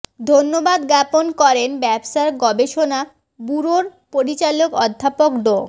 ধন্যবাদ জ্ঞাপন করেন ব্যবসায় গবেষণা ব্যুরোর পরিচালক অধ্যাপক ড